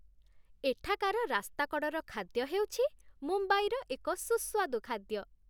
ଏଠାକାର ରାସ୍ତାକଡ଼ର ଖାଦ୍ୟ ହେଉଛି ମୁମ୍ବାଇର ଏକ ସୁସ୍ୱାଦୁ ଖାଦ୍ୟ।